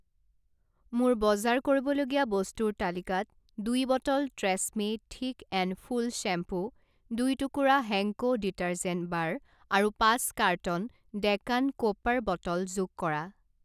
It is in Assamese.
মোৰ বজাৰ কৰিবলগীয়া বস্তুৰ তালিকাত দুই bottle Tresemme thick and full shampoo, দুই টুকুৰা হেংকো ডিটাৰজেন্ট বাৰ আৰু পাঁচ কাৰ্টন ডেকান ক'পাৰ বটল যোগ কৰা।